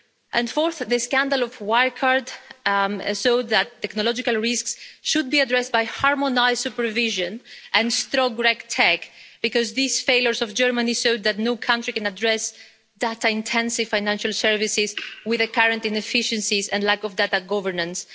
And fourthly, the scandal of Wirecard showed that technological risks should be addressed by harmonised supervision and strong RegTech, because these failures of Germany showed that no country can address data intensive financial services with the current inefficiencies and lack of data governance.